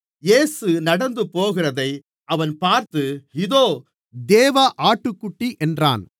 இயேசு நடந்து போகிறதை அவன் பார்த்து இதோ தேவ ஆட்டுக்குட்டி என்றான்